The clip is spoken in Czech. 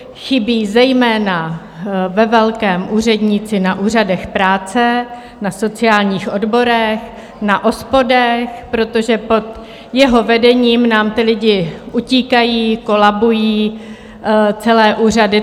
Chybí zejména ve velkém úředníci na úřadech práce, na sociálních odborech, na OSPODech, protože pod jeho vedením nám ti lidé utíkají, kolabují celé úřady.